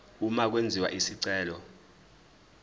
uma kwenziwa isicelo